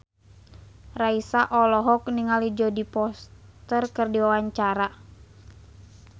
Raisa olohok ningali Jodie Foster keur diwawancara